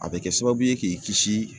A bɛ kɛ sababu ye k'i kisi